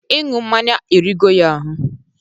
Iǹụ mmaǹya erigo ya ahụ.